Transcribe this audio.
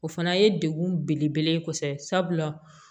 O fana ye degun belebele ye kosɛbɛ sabula